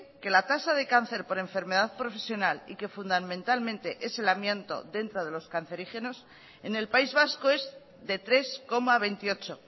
que la tasa de cáncer por enfermedad profesional y que fundamentalmente es el amianto dentro de los cancerígenos en el país vasco es de tres coma veintiocho